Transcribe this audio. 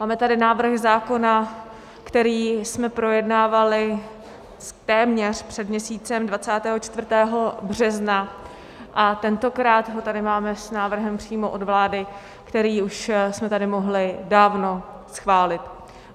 Máme tady návrh zákona, který jsme projednávali téměř před měsícem 24. března, a tentokrát ho tady máme s návrhem přímo od vlády, který už jsme tady mohli dávno schválit.